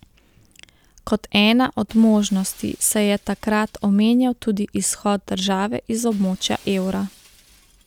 Kot ena od možnosti se je takrat omenjal tudi izhod države iz območja evra.